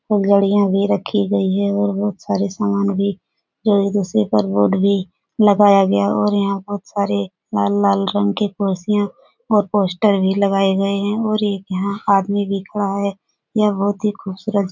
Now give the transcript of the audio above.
गाड़ियाँ भी रखी गई है और बहुत सारे सामान भी जो एक-दूसरे पर बोर्ड भी लागाया गया है और यहाँ पर बहुत सारी लाल-लाल रंग की कुर्सियाँ और पोस्टर भी लगाए गए हैं और एक यहाँ आदमी भी खड़ा है । यह बहुत ही खूबसूरत जगह --